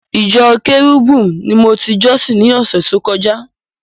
Ìjọ Cherubim ni mo ti jọ́sìn ni ọ̀sẹ̀ tó kọjá.